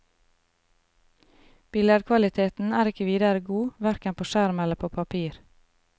Billedkvaliteten er ikke videre god hverken på skjerm eller på papir.